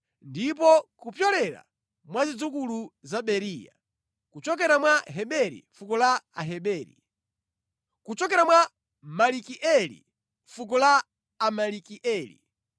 ndipo kupyolera mwa zidzukulu za Beriya: kuchokera mwa Heberi, fuko la Aheberi; kuchokera mwa Malikieli, fuko la Amalikieli;